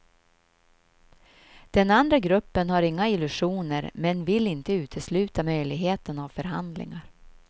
Den andra gruppen har inga illusioner men vill inte utesluta möjligheten av förhandlingar.